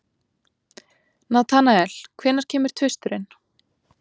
Natanael, hvenær kemur tvisturinn?